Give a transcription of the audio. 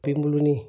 Penguruni